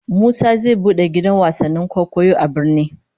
Musa zai bude gidan wasannin kwaikwayo a birni